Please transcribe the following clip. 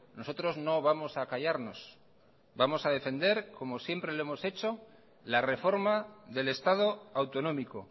nosotros no vamos a callarnos vamos a defender como siempre lo hemos la reforma del estado autonómico